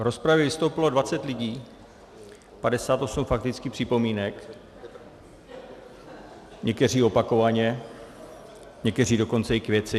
V rozpravě vystoupilo 20 lidí, 58 faktických připomínek, někteří opakovaně, někteří dokonce i k věci.